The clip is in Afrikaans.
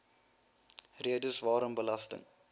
redes waarom belasting